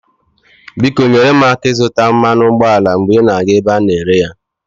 Biko nyere m aka ịzụta mmanụ ụgbọala mgbe ị na-aga ebe a na-ere ya.